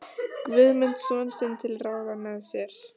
Guðmund son sinn til ráða með sér.